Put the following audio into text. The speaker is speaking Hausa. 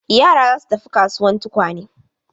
Yara za su tafi kasuwan tukwane.